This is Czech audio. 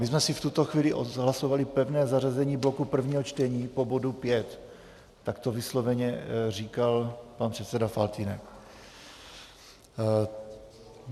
My jsme si v tuto chvíli odhlasovali pevné zařazení bloku prvního čtení po bodu 5, tak to vysloveně říkal pan předseda Faltýnek.